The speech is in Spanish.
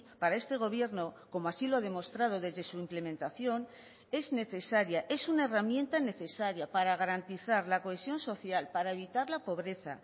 para este gobierno como así lo ha demostrado desde su implementación es necesaria es una herramienta necesaria para garantizar la cohesión social para evitar la pobreza